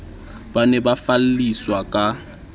ba ne ba falliswa ka